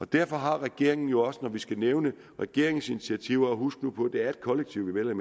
derfor har regeringen jo også når jeg skal nævne regeringens initiativer og husk nu på at det er et kollektiv vi